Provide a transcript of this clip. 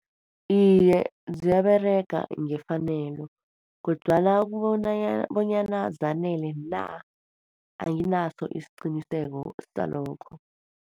Iye, ziyaberega ngefanelo. Kodwana bonyana zanele na, anginaso isiqiniseko salokho.